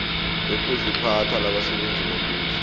lokuziphatha labasebenzi bombuso